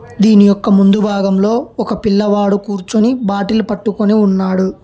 దీని యొక్క ముందు భాగంలో ఒక పిల్లవాడు కూర్చుని బాటిల్ పట్టుకొని ఉన్నాడు.